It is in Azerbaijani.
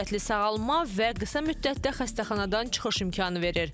Daha sürətli sağalma və qısa müddətdə xəstəxanadan çıxış imkanı verir.